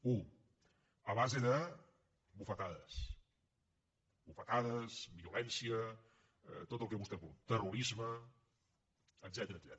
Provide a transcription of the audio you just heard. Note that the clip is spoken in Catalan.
una a base de bufetades bufetades violència tot el que vostès vulguin terrorisme etcètera